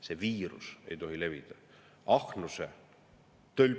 See viirus ei tohi levida – ahnuse, tölpluse …